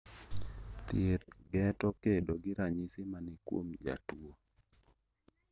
Thieth geto kedo gi ranyisi mani kuom jatuo